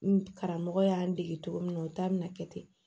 N karamɔgɔ y'an dege cogo min na o ta bɛna kɛ ten